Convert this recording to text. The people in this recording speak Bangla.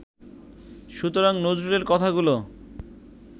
সুতরাং নজরুলের কথাগুলো